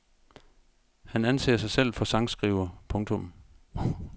Han anser sig selv for sangskriver. punktum